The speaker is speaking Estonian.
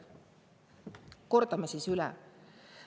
Kordame siis üle.